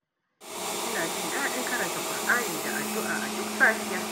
Ina jin daɗin karanta Ƙur'ani da addu'a a duk safiya.